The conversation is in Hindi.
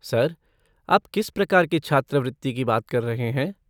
सर, आप किस प्रकार की छात्रवृत्ति की बात कर रहे हैं?